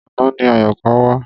Àná ni Àyọ̀ká wá.